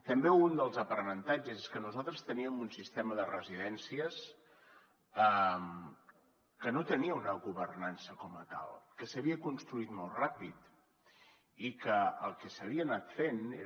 també un dels aprenentatges és que nosaltres teníem un sistema de residències que no tenia una governança com a tal que s’havia construït molt ràpid i que el que s’havia anat fent era